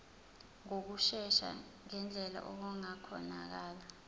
ngokushesha ngendlela okungakhonakala